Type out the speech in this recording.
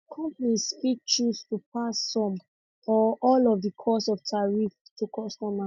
companies fit choose to pass some or all of di cost of tariffs to customers